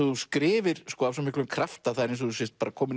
þú skrifir af svo miklum krafti að það er eins og þú sért kominn